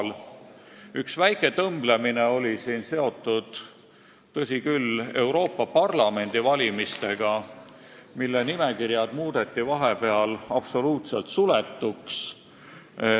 Tõsi küll, üks väike tõmblemine oli seotud Euroopa Parlamendi valimistega, mille nimekirjad muudeti vahepeal absoluutselt suletuks.